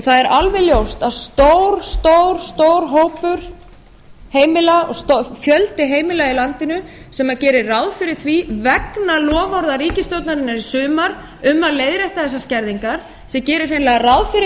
það er alveg ljóst að fjöldi heimila í landinu sem gerði ráð fyrir því vegna loforða ríkisstjórnarinnar í sumar um að leiðrétta þessar skerðingar þau gerðu hreinlega ráð fyrir